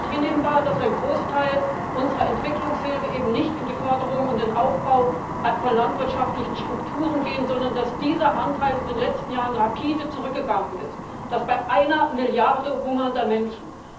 Und es ist nicht hinnehmbar, dass ein Großteil unserer Entwicklungshilfe eben nicht in die Förderung und den Aufbau von landwirtschaftlichen Strukturen geht, sondern dass dieser Anteil in den letzten Jahren rapide zurückgegangen ist, und das bei einer Milliarde hungernder Menschen.